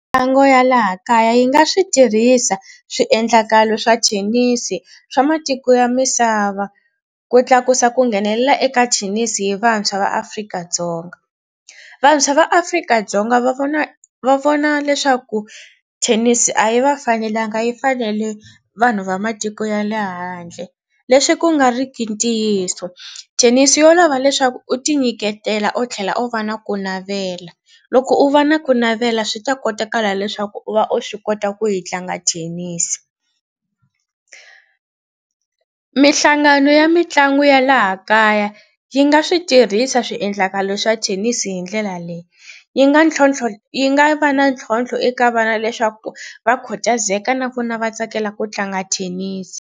Mitlangu ya laha kaya yi nga swi tirhisa swiendlakalo swa thenisi swa matiko ya misava ku tlakusa ku nghenelela eka thenisi hi vantshwa va Afrika-Dzonga. Vantshwa va Afrika-Dzonga va vona va vona leswaku thenisi a yi va fanelanga yi fanele vanhu va matiko ya le handle leswi ku nga ri ki ntiyiso. Thenisi yo lava leswaku u tinyiketela u tlhela u va na ku navela. Loko u va na ku navela swi ta kotakala leswaku u va u swi kota ku yi tlanga thenisi. Mihlangano ya mitlangu ya laha kaya yi nga swi tirhisa swiendlakalo swa thenisi hi ndlela leyi yi nga ntlhontlho yi nga va na ntlhontlho eka vana leswaku va khutazaka na vona va tsakela ku tlanga thenisi.